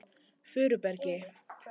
Furubergi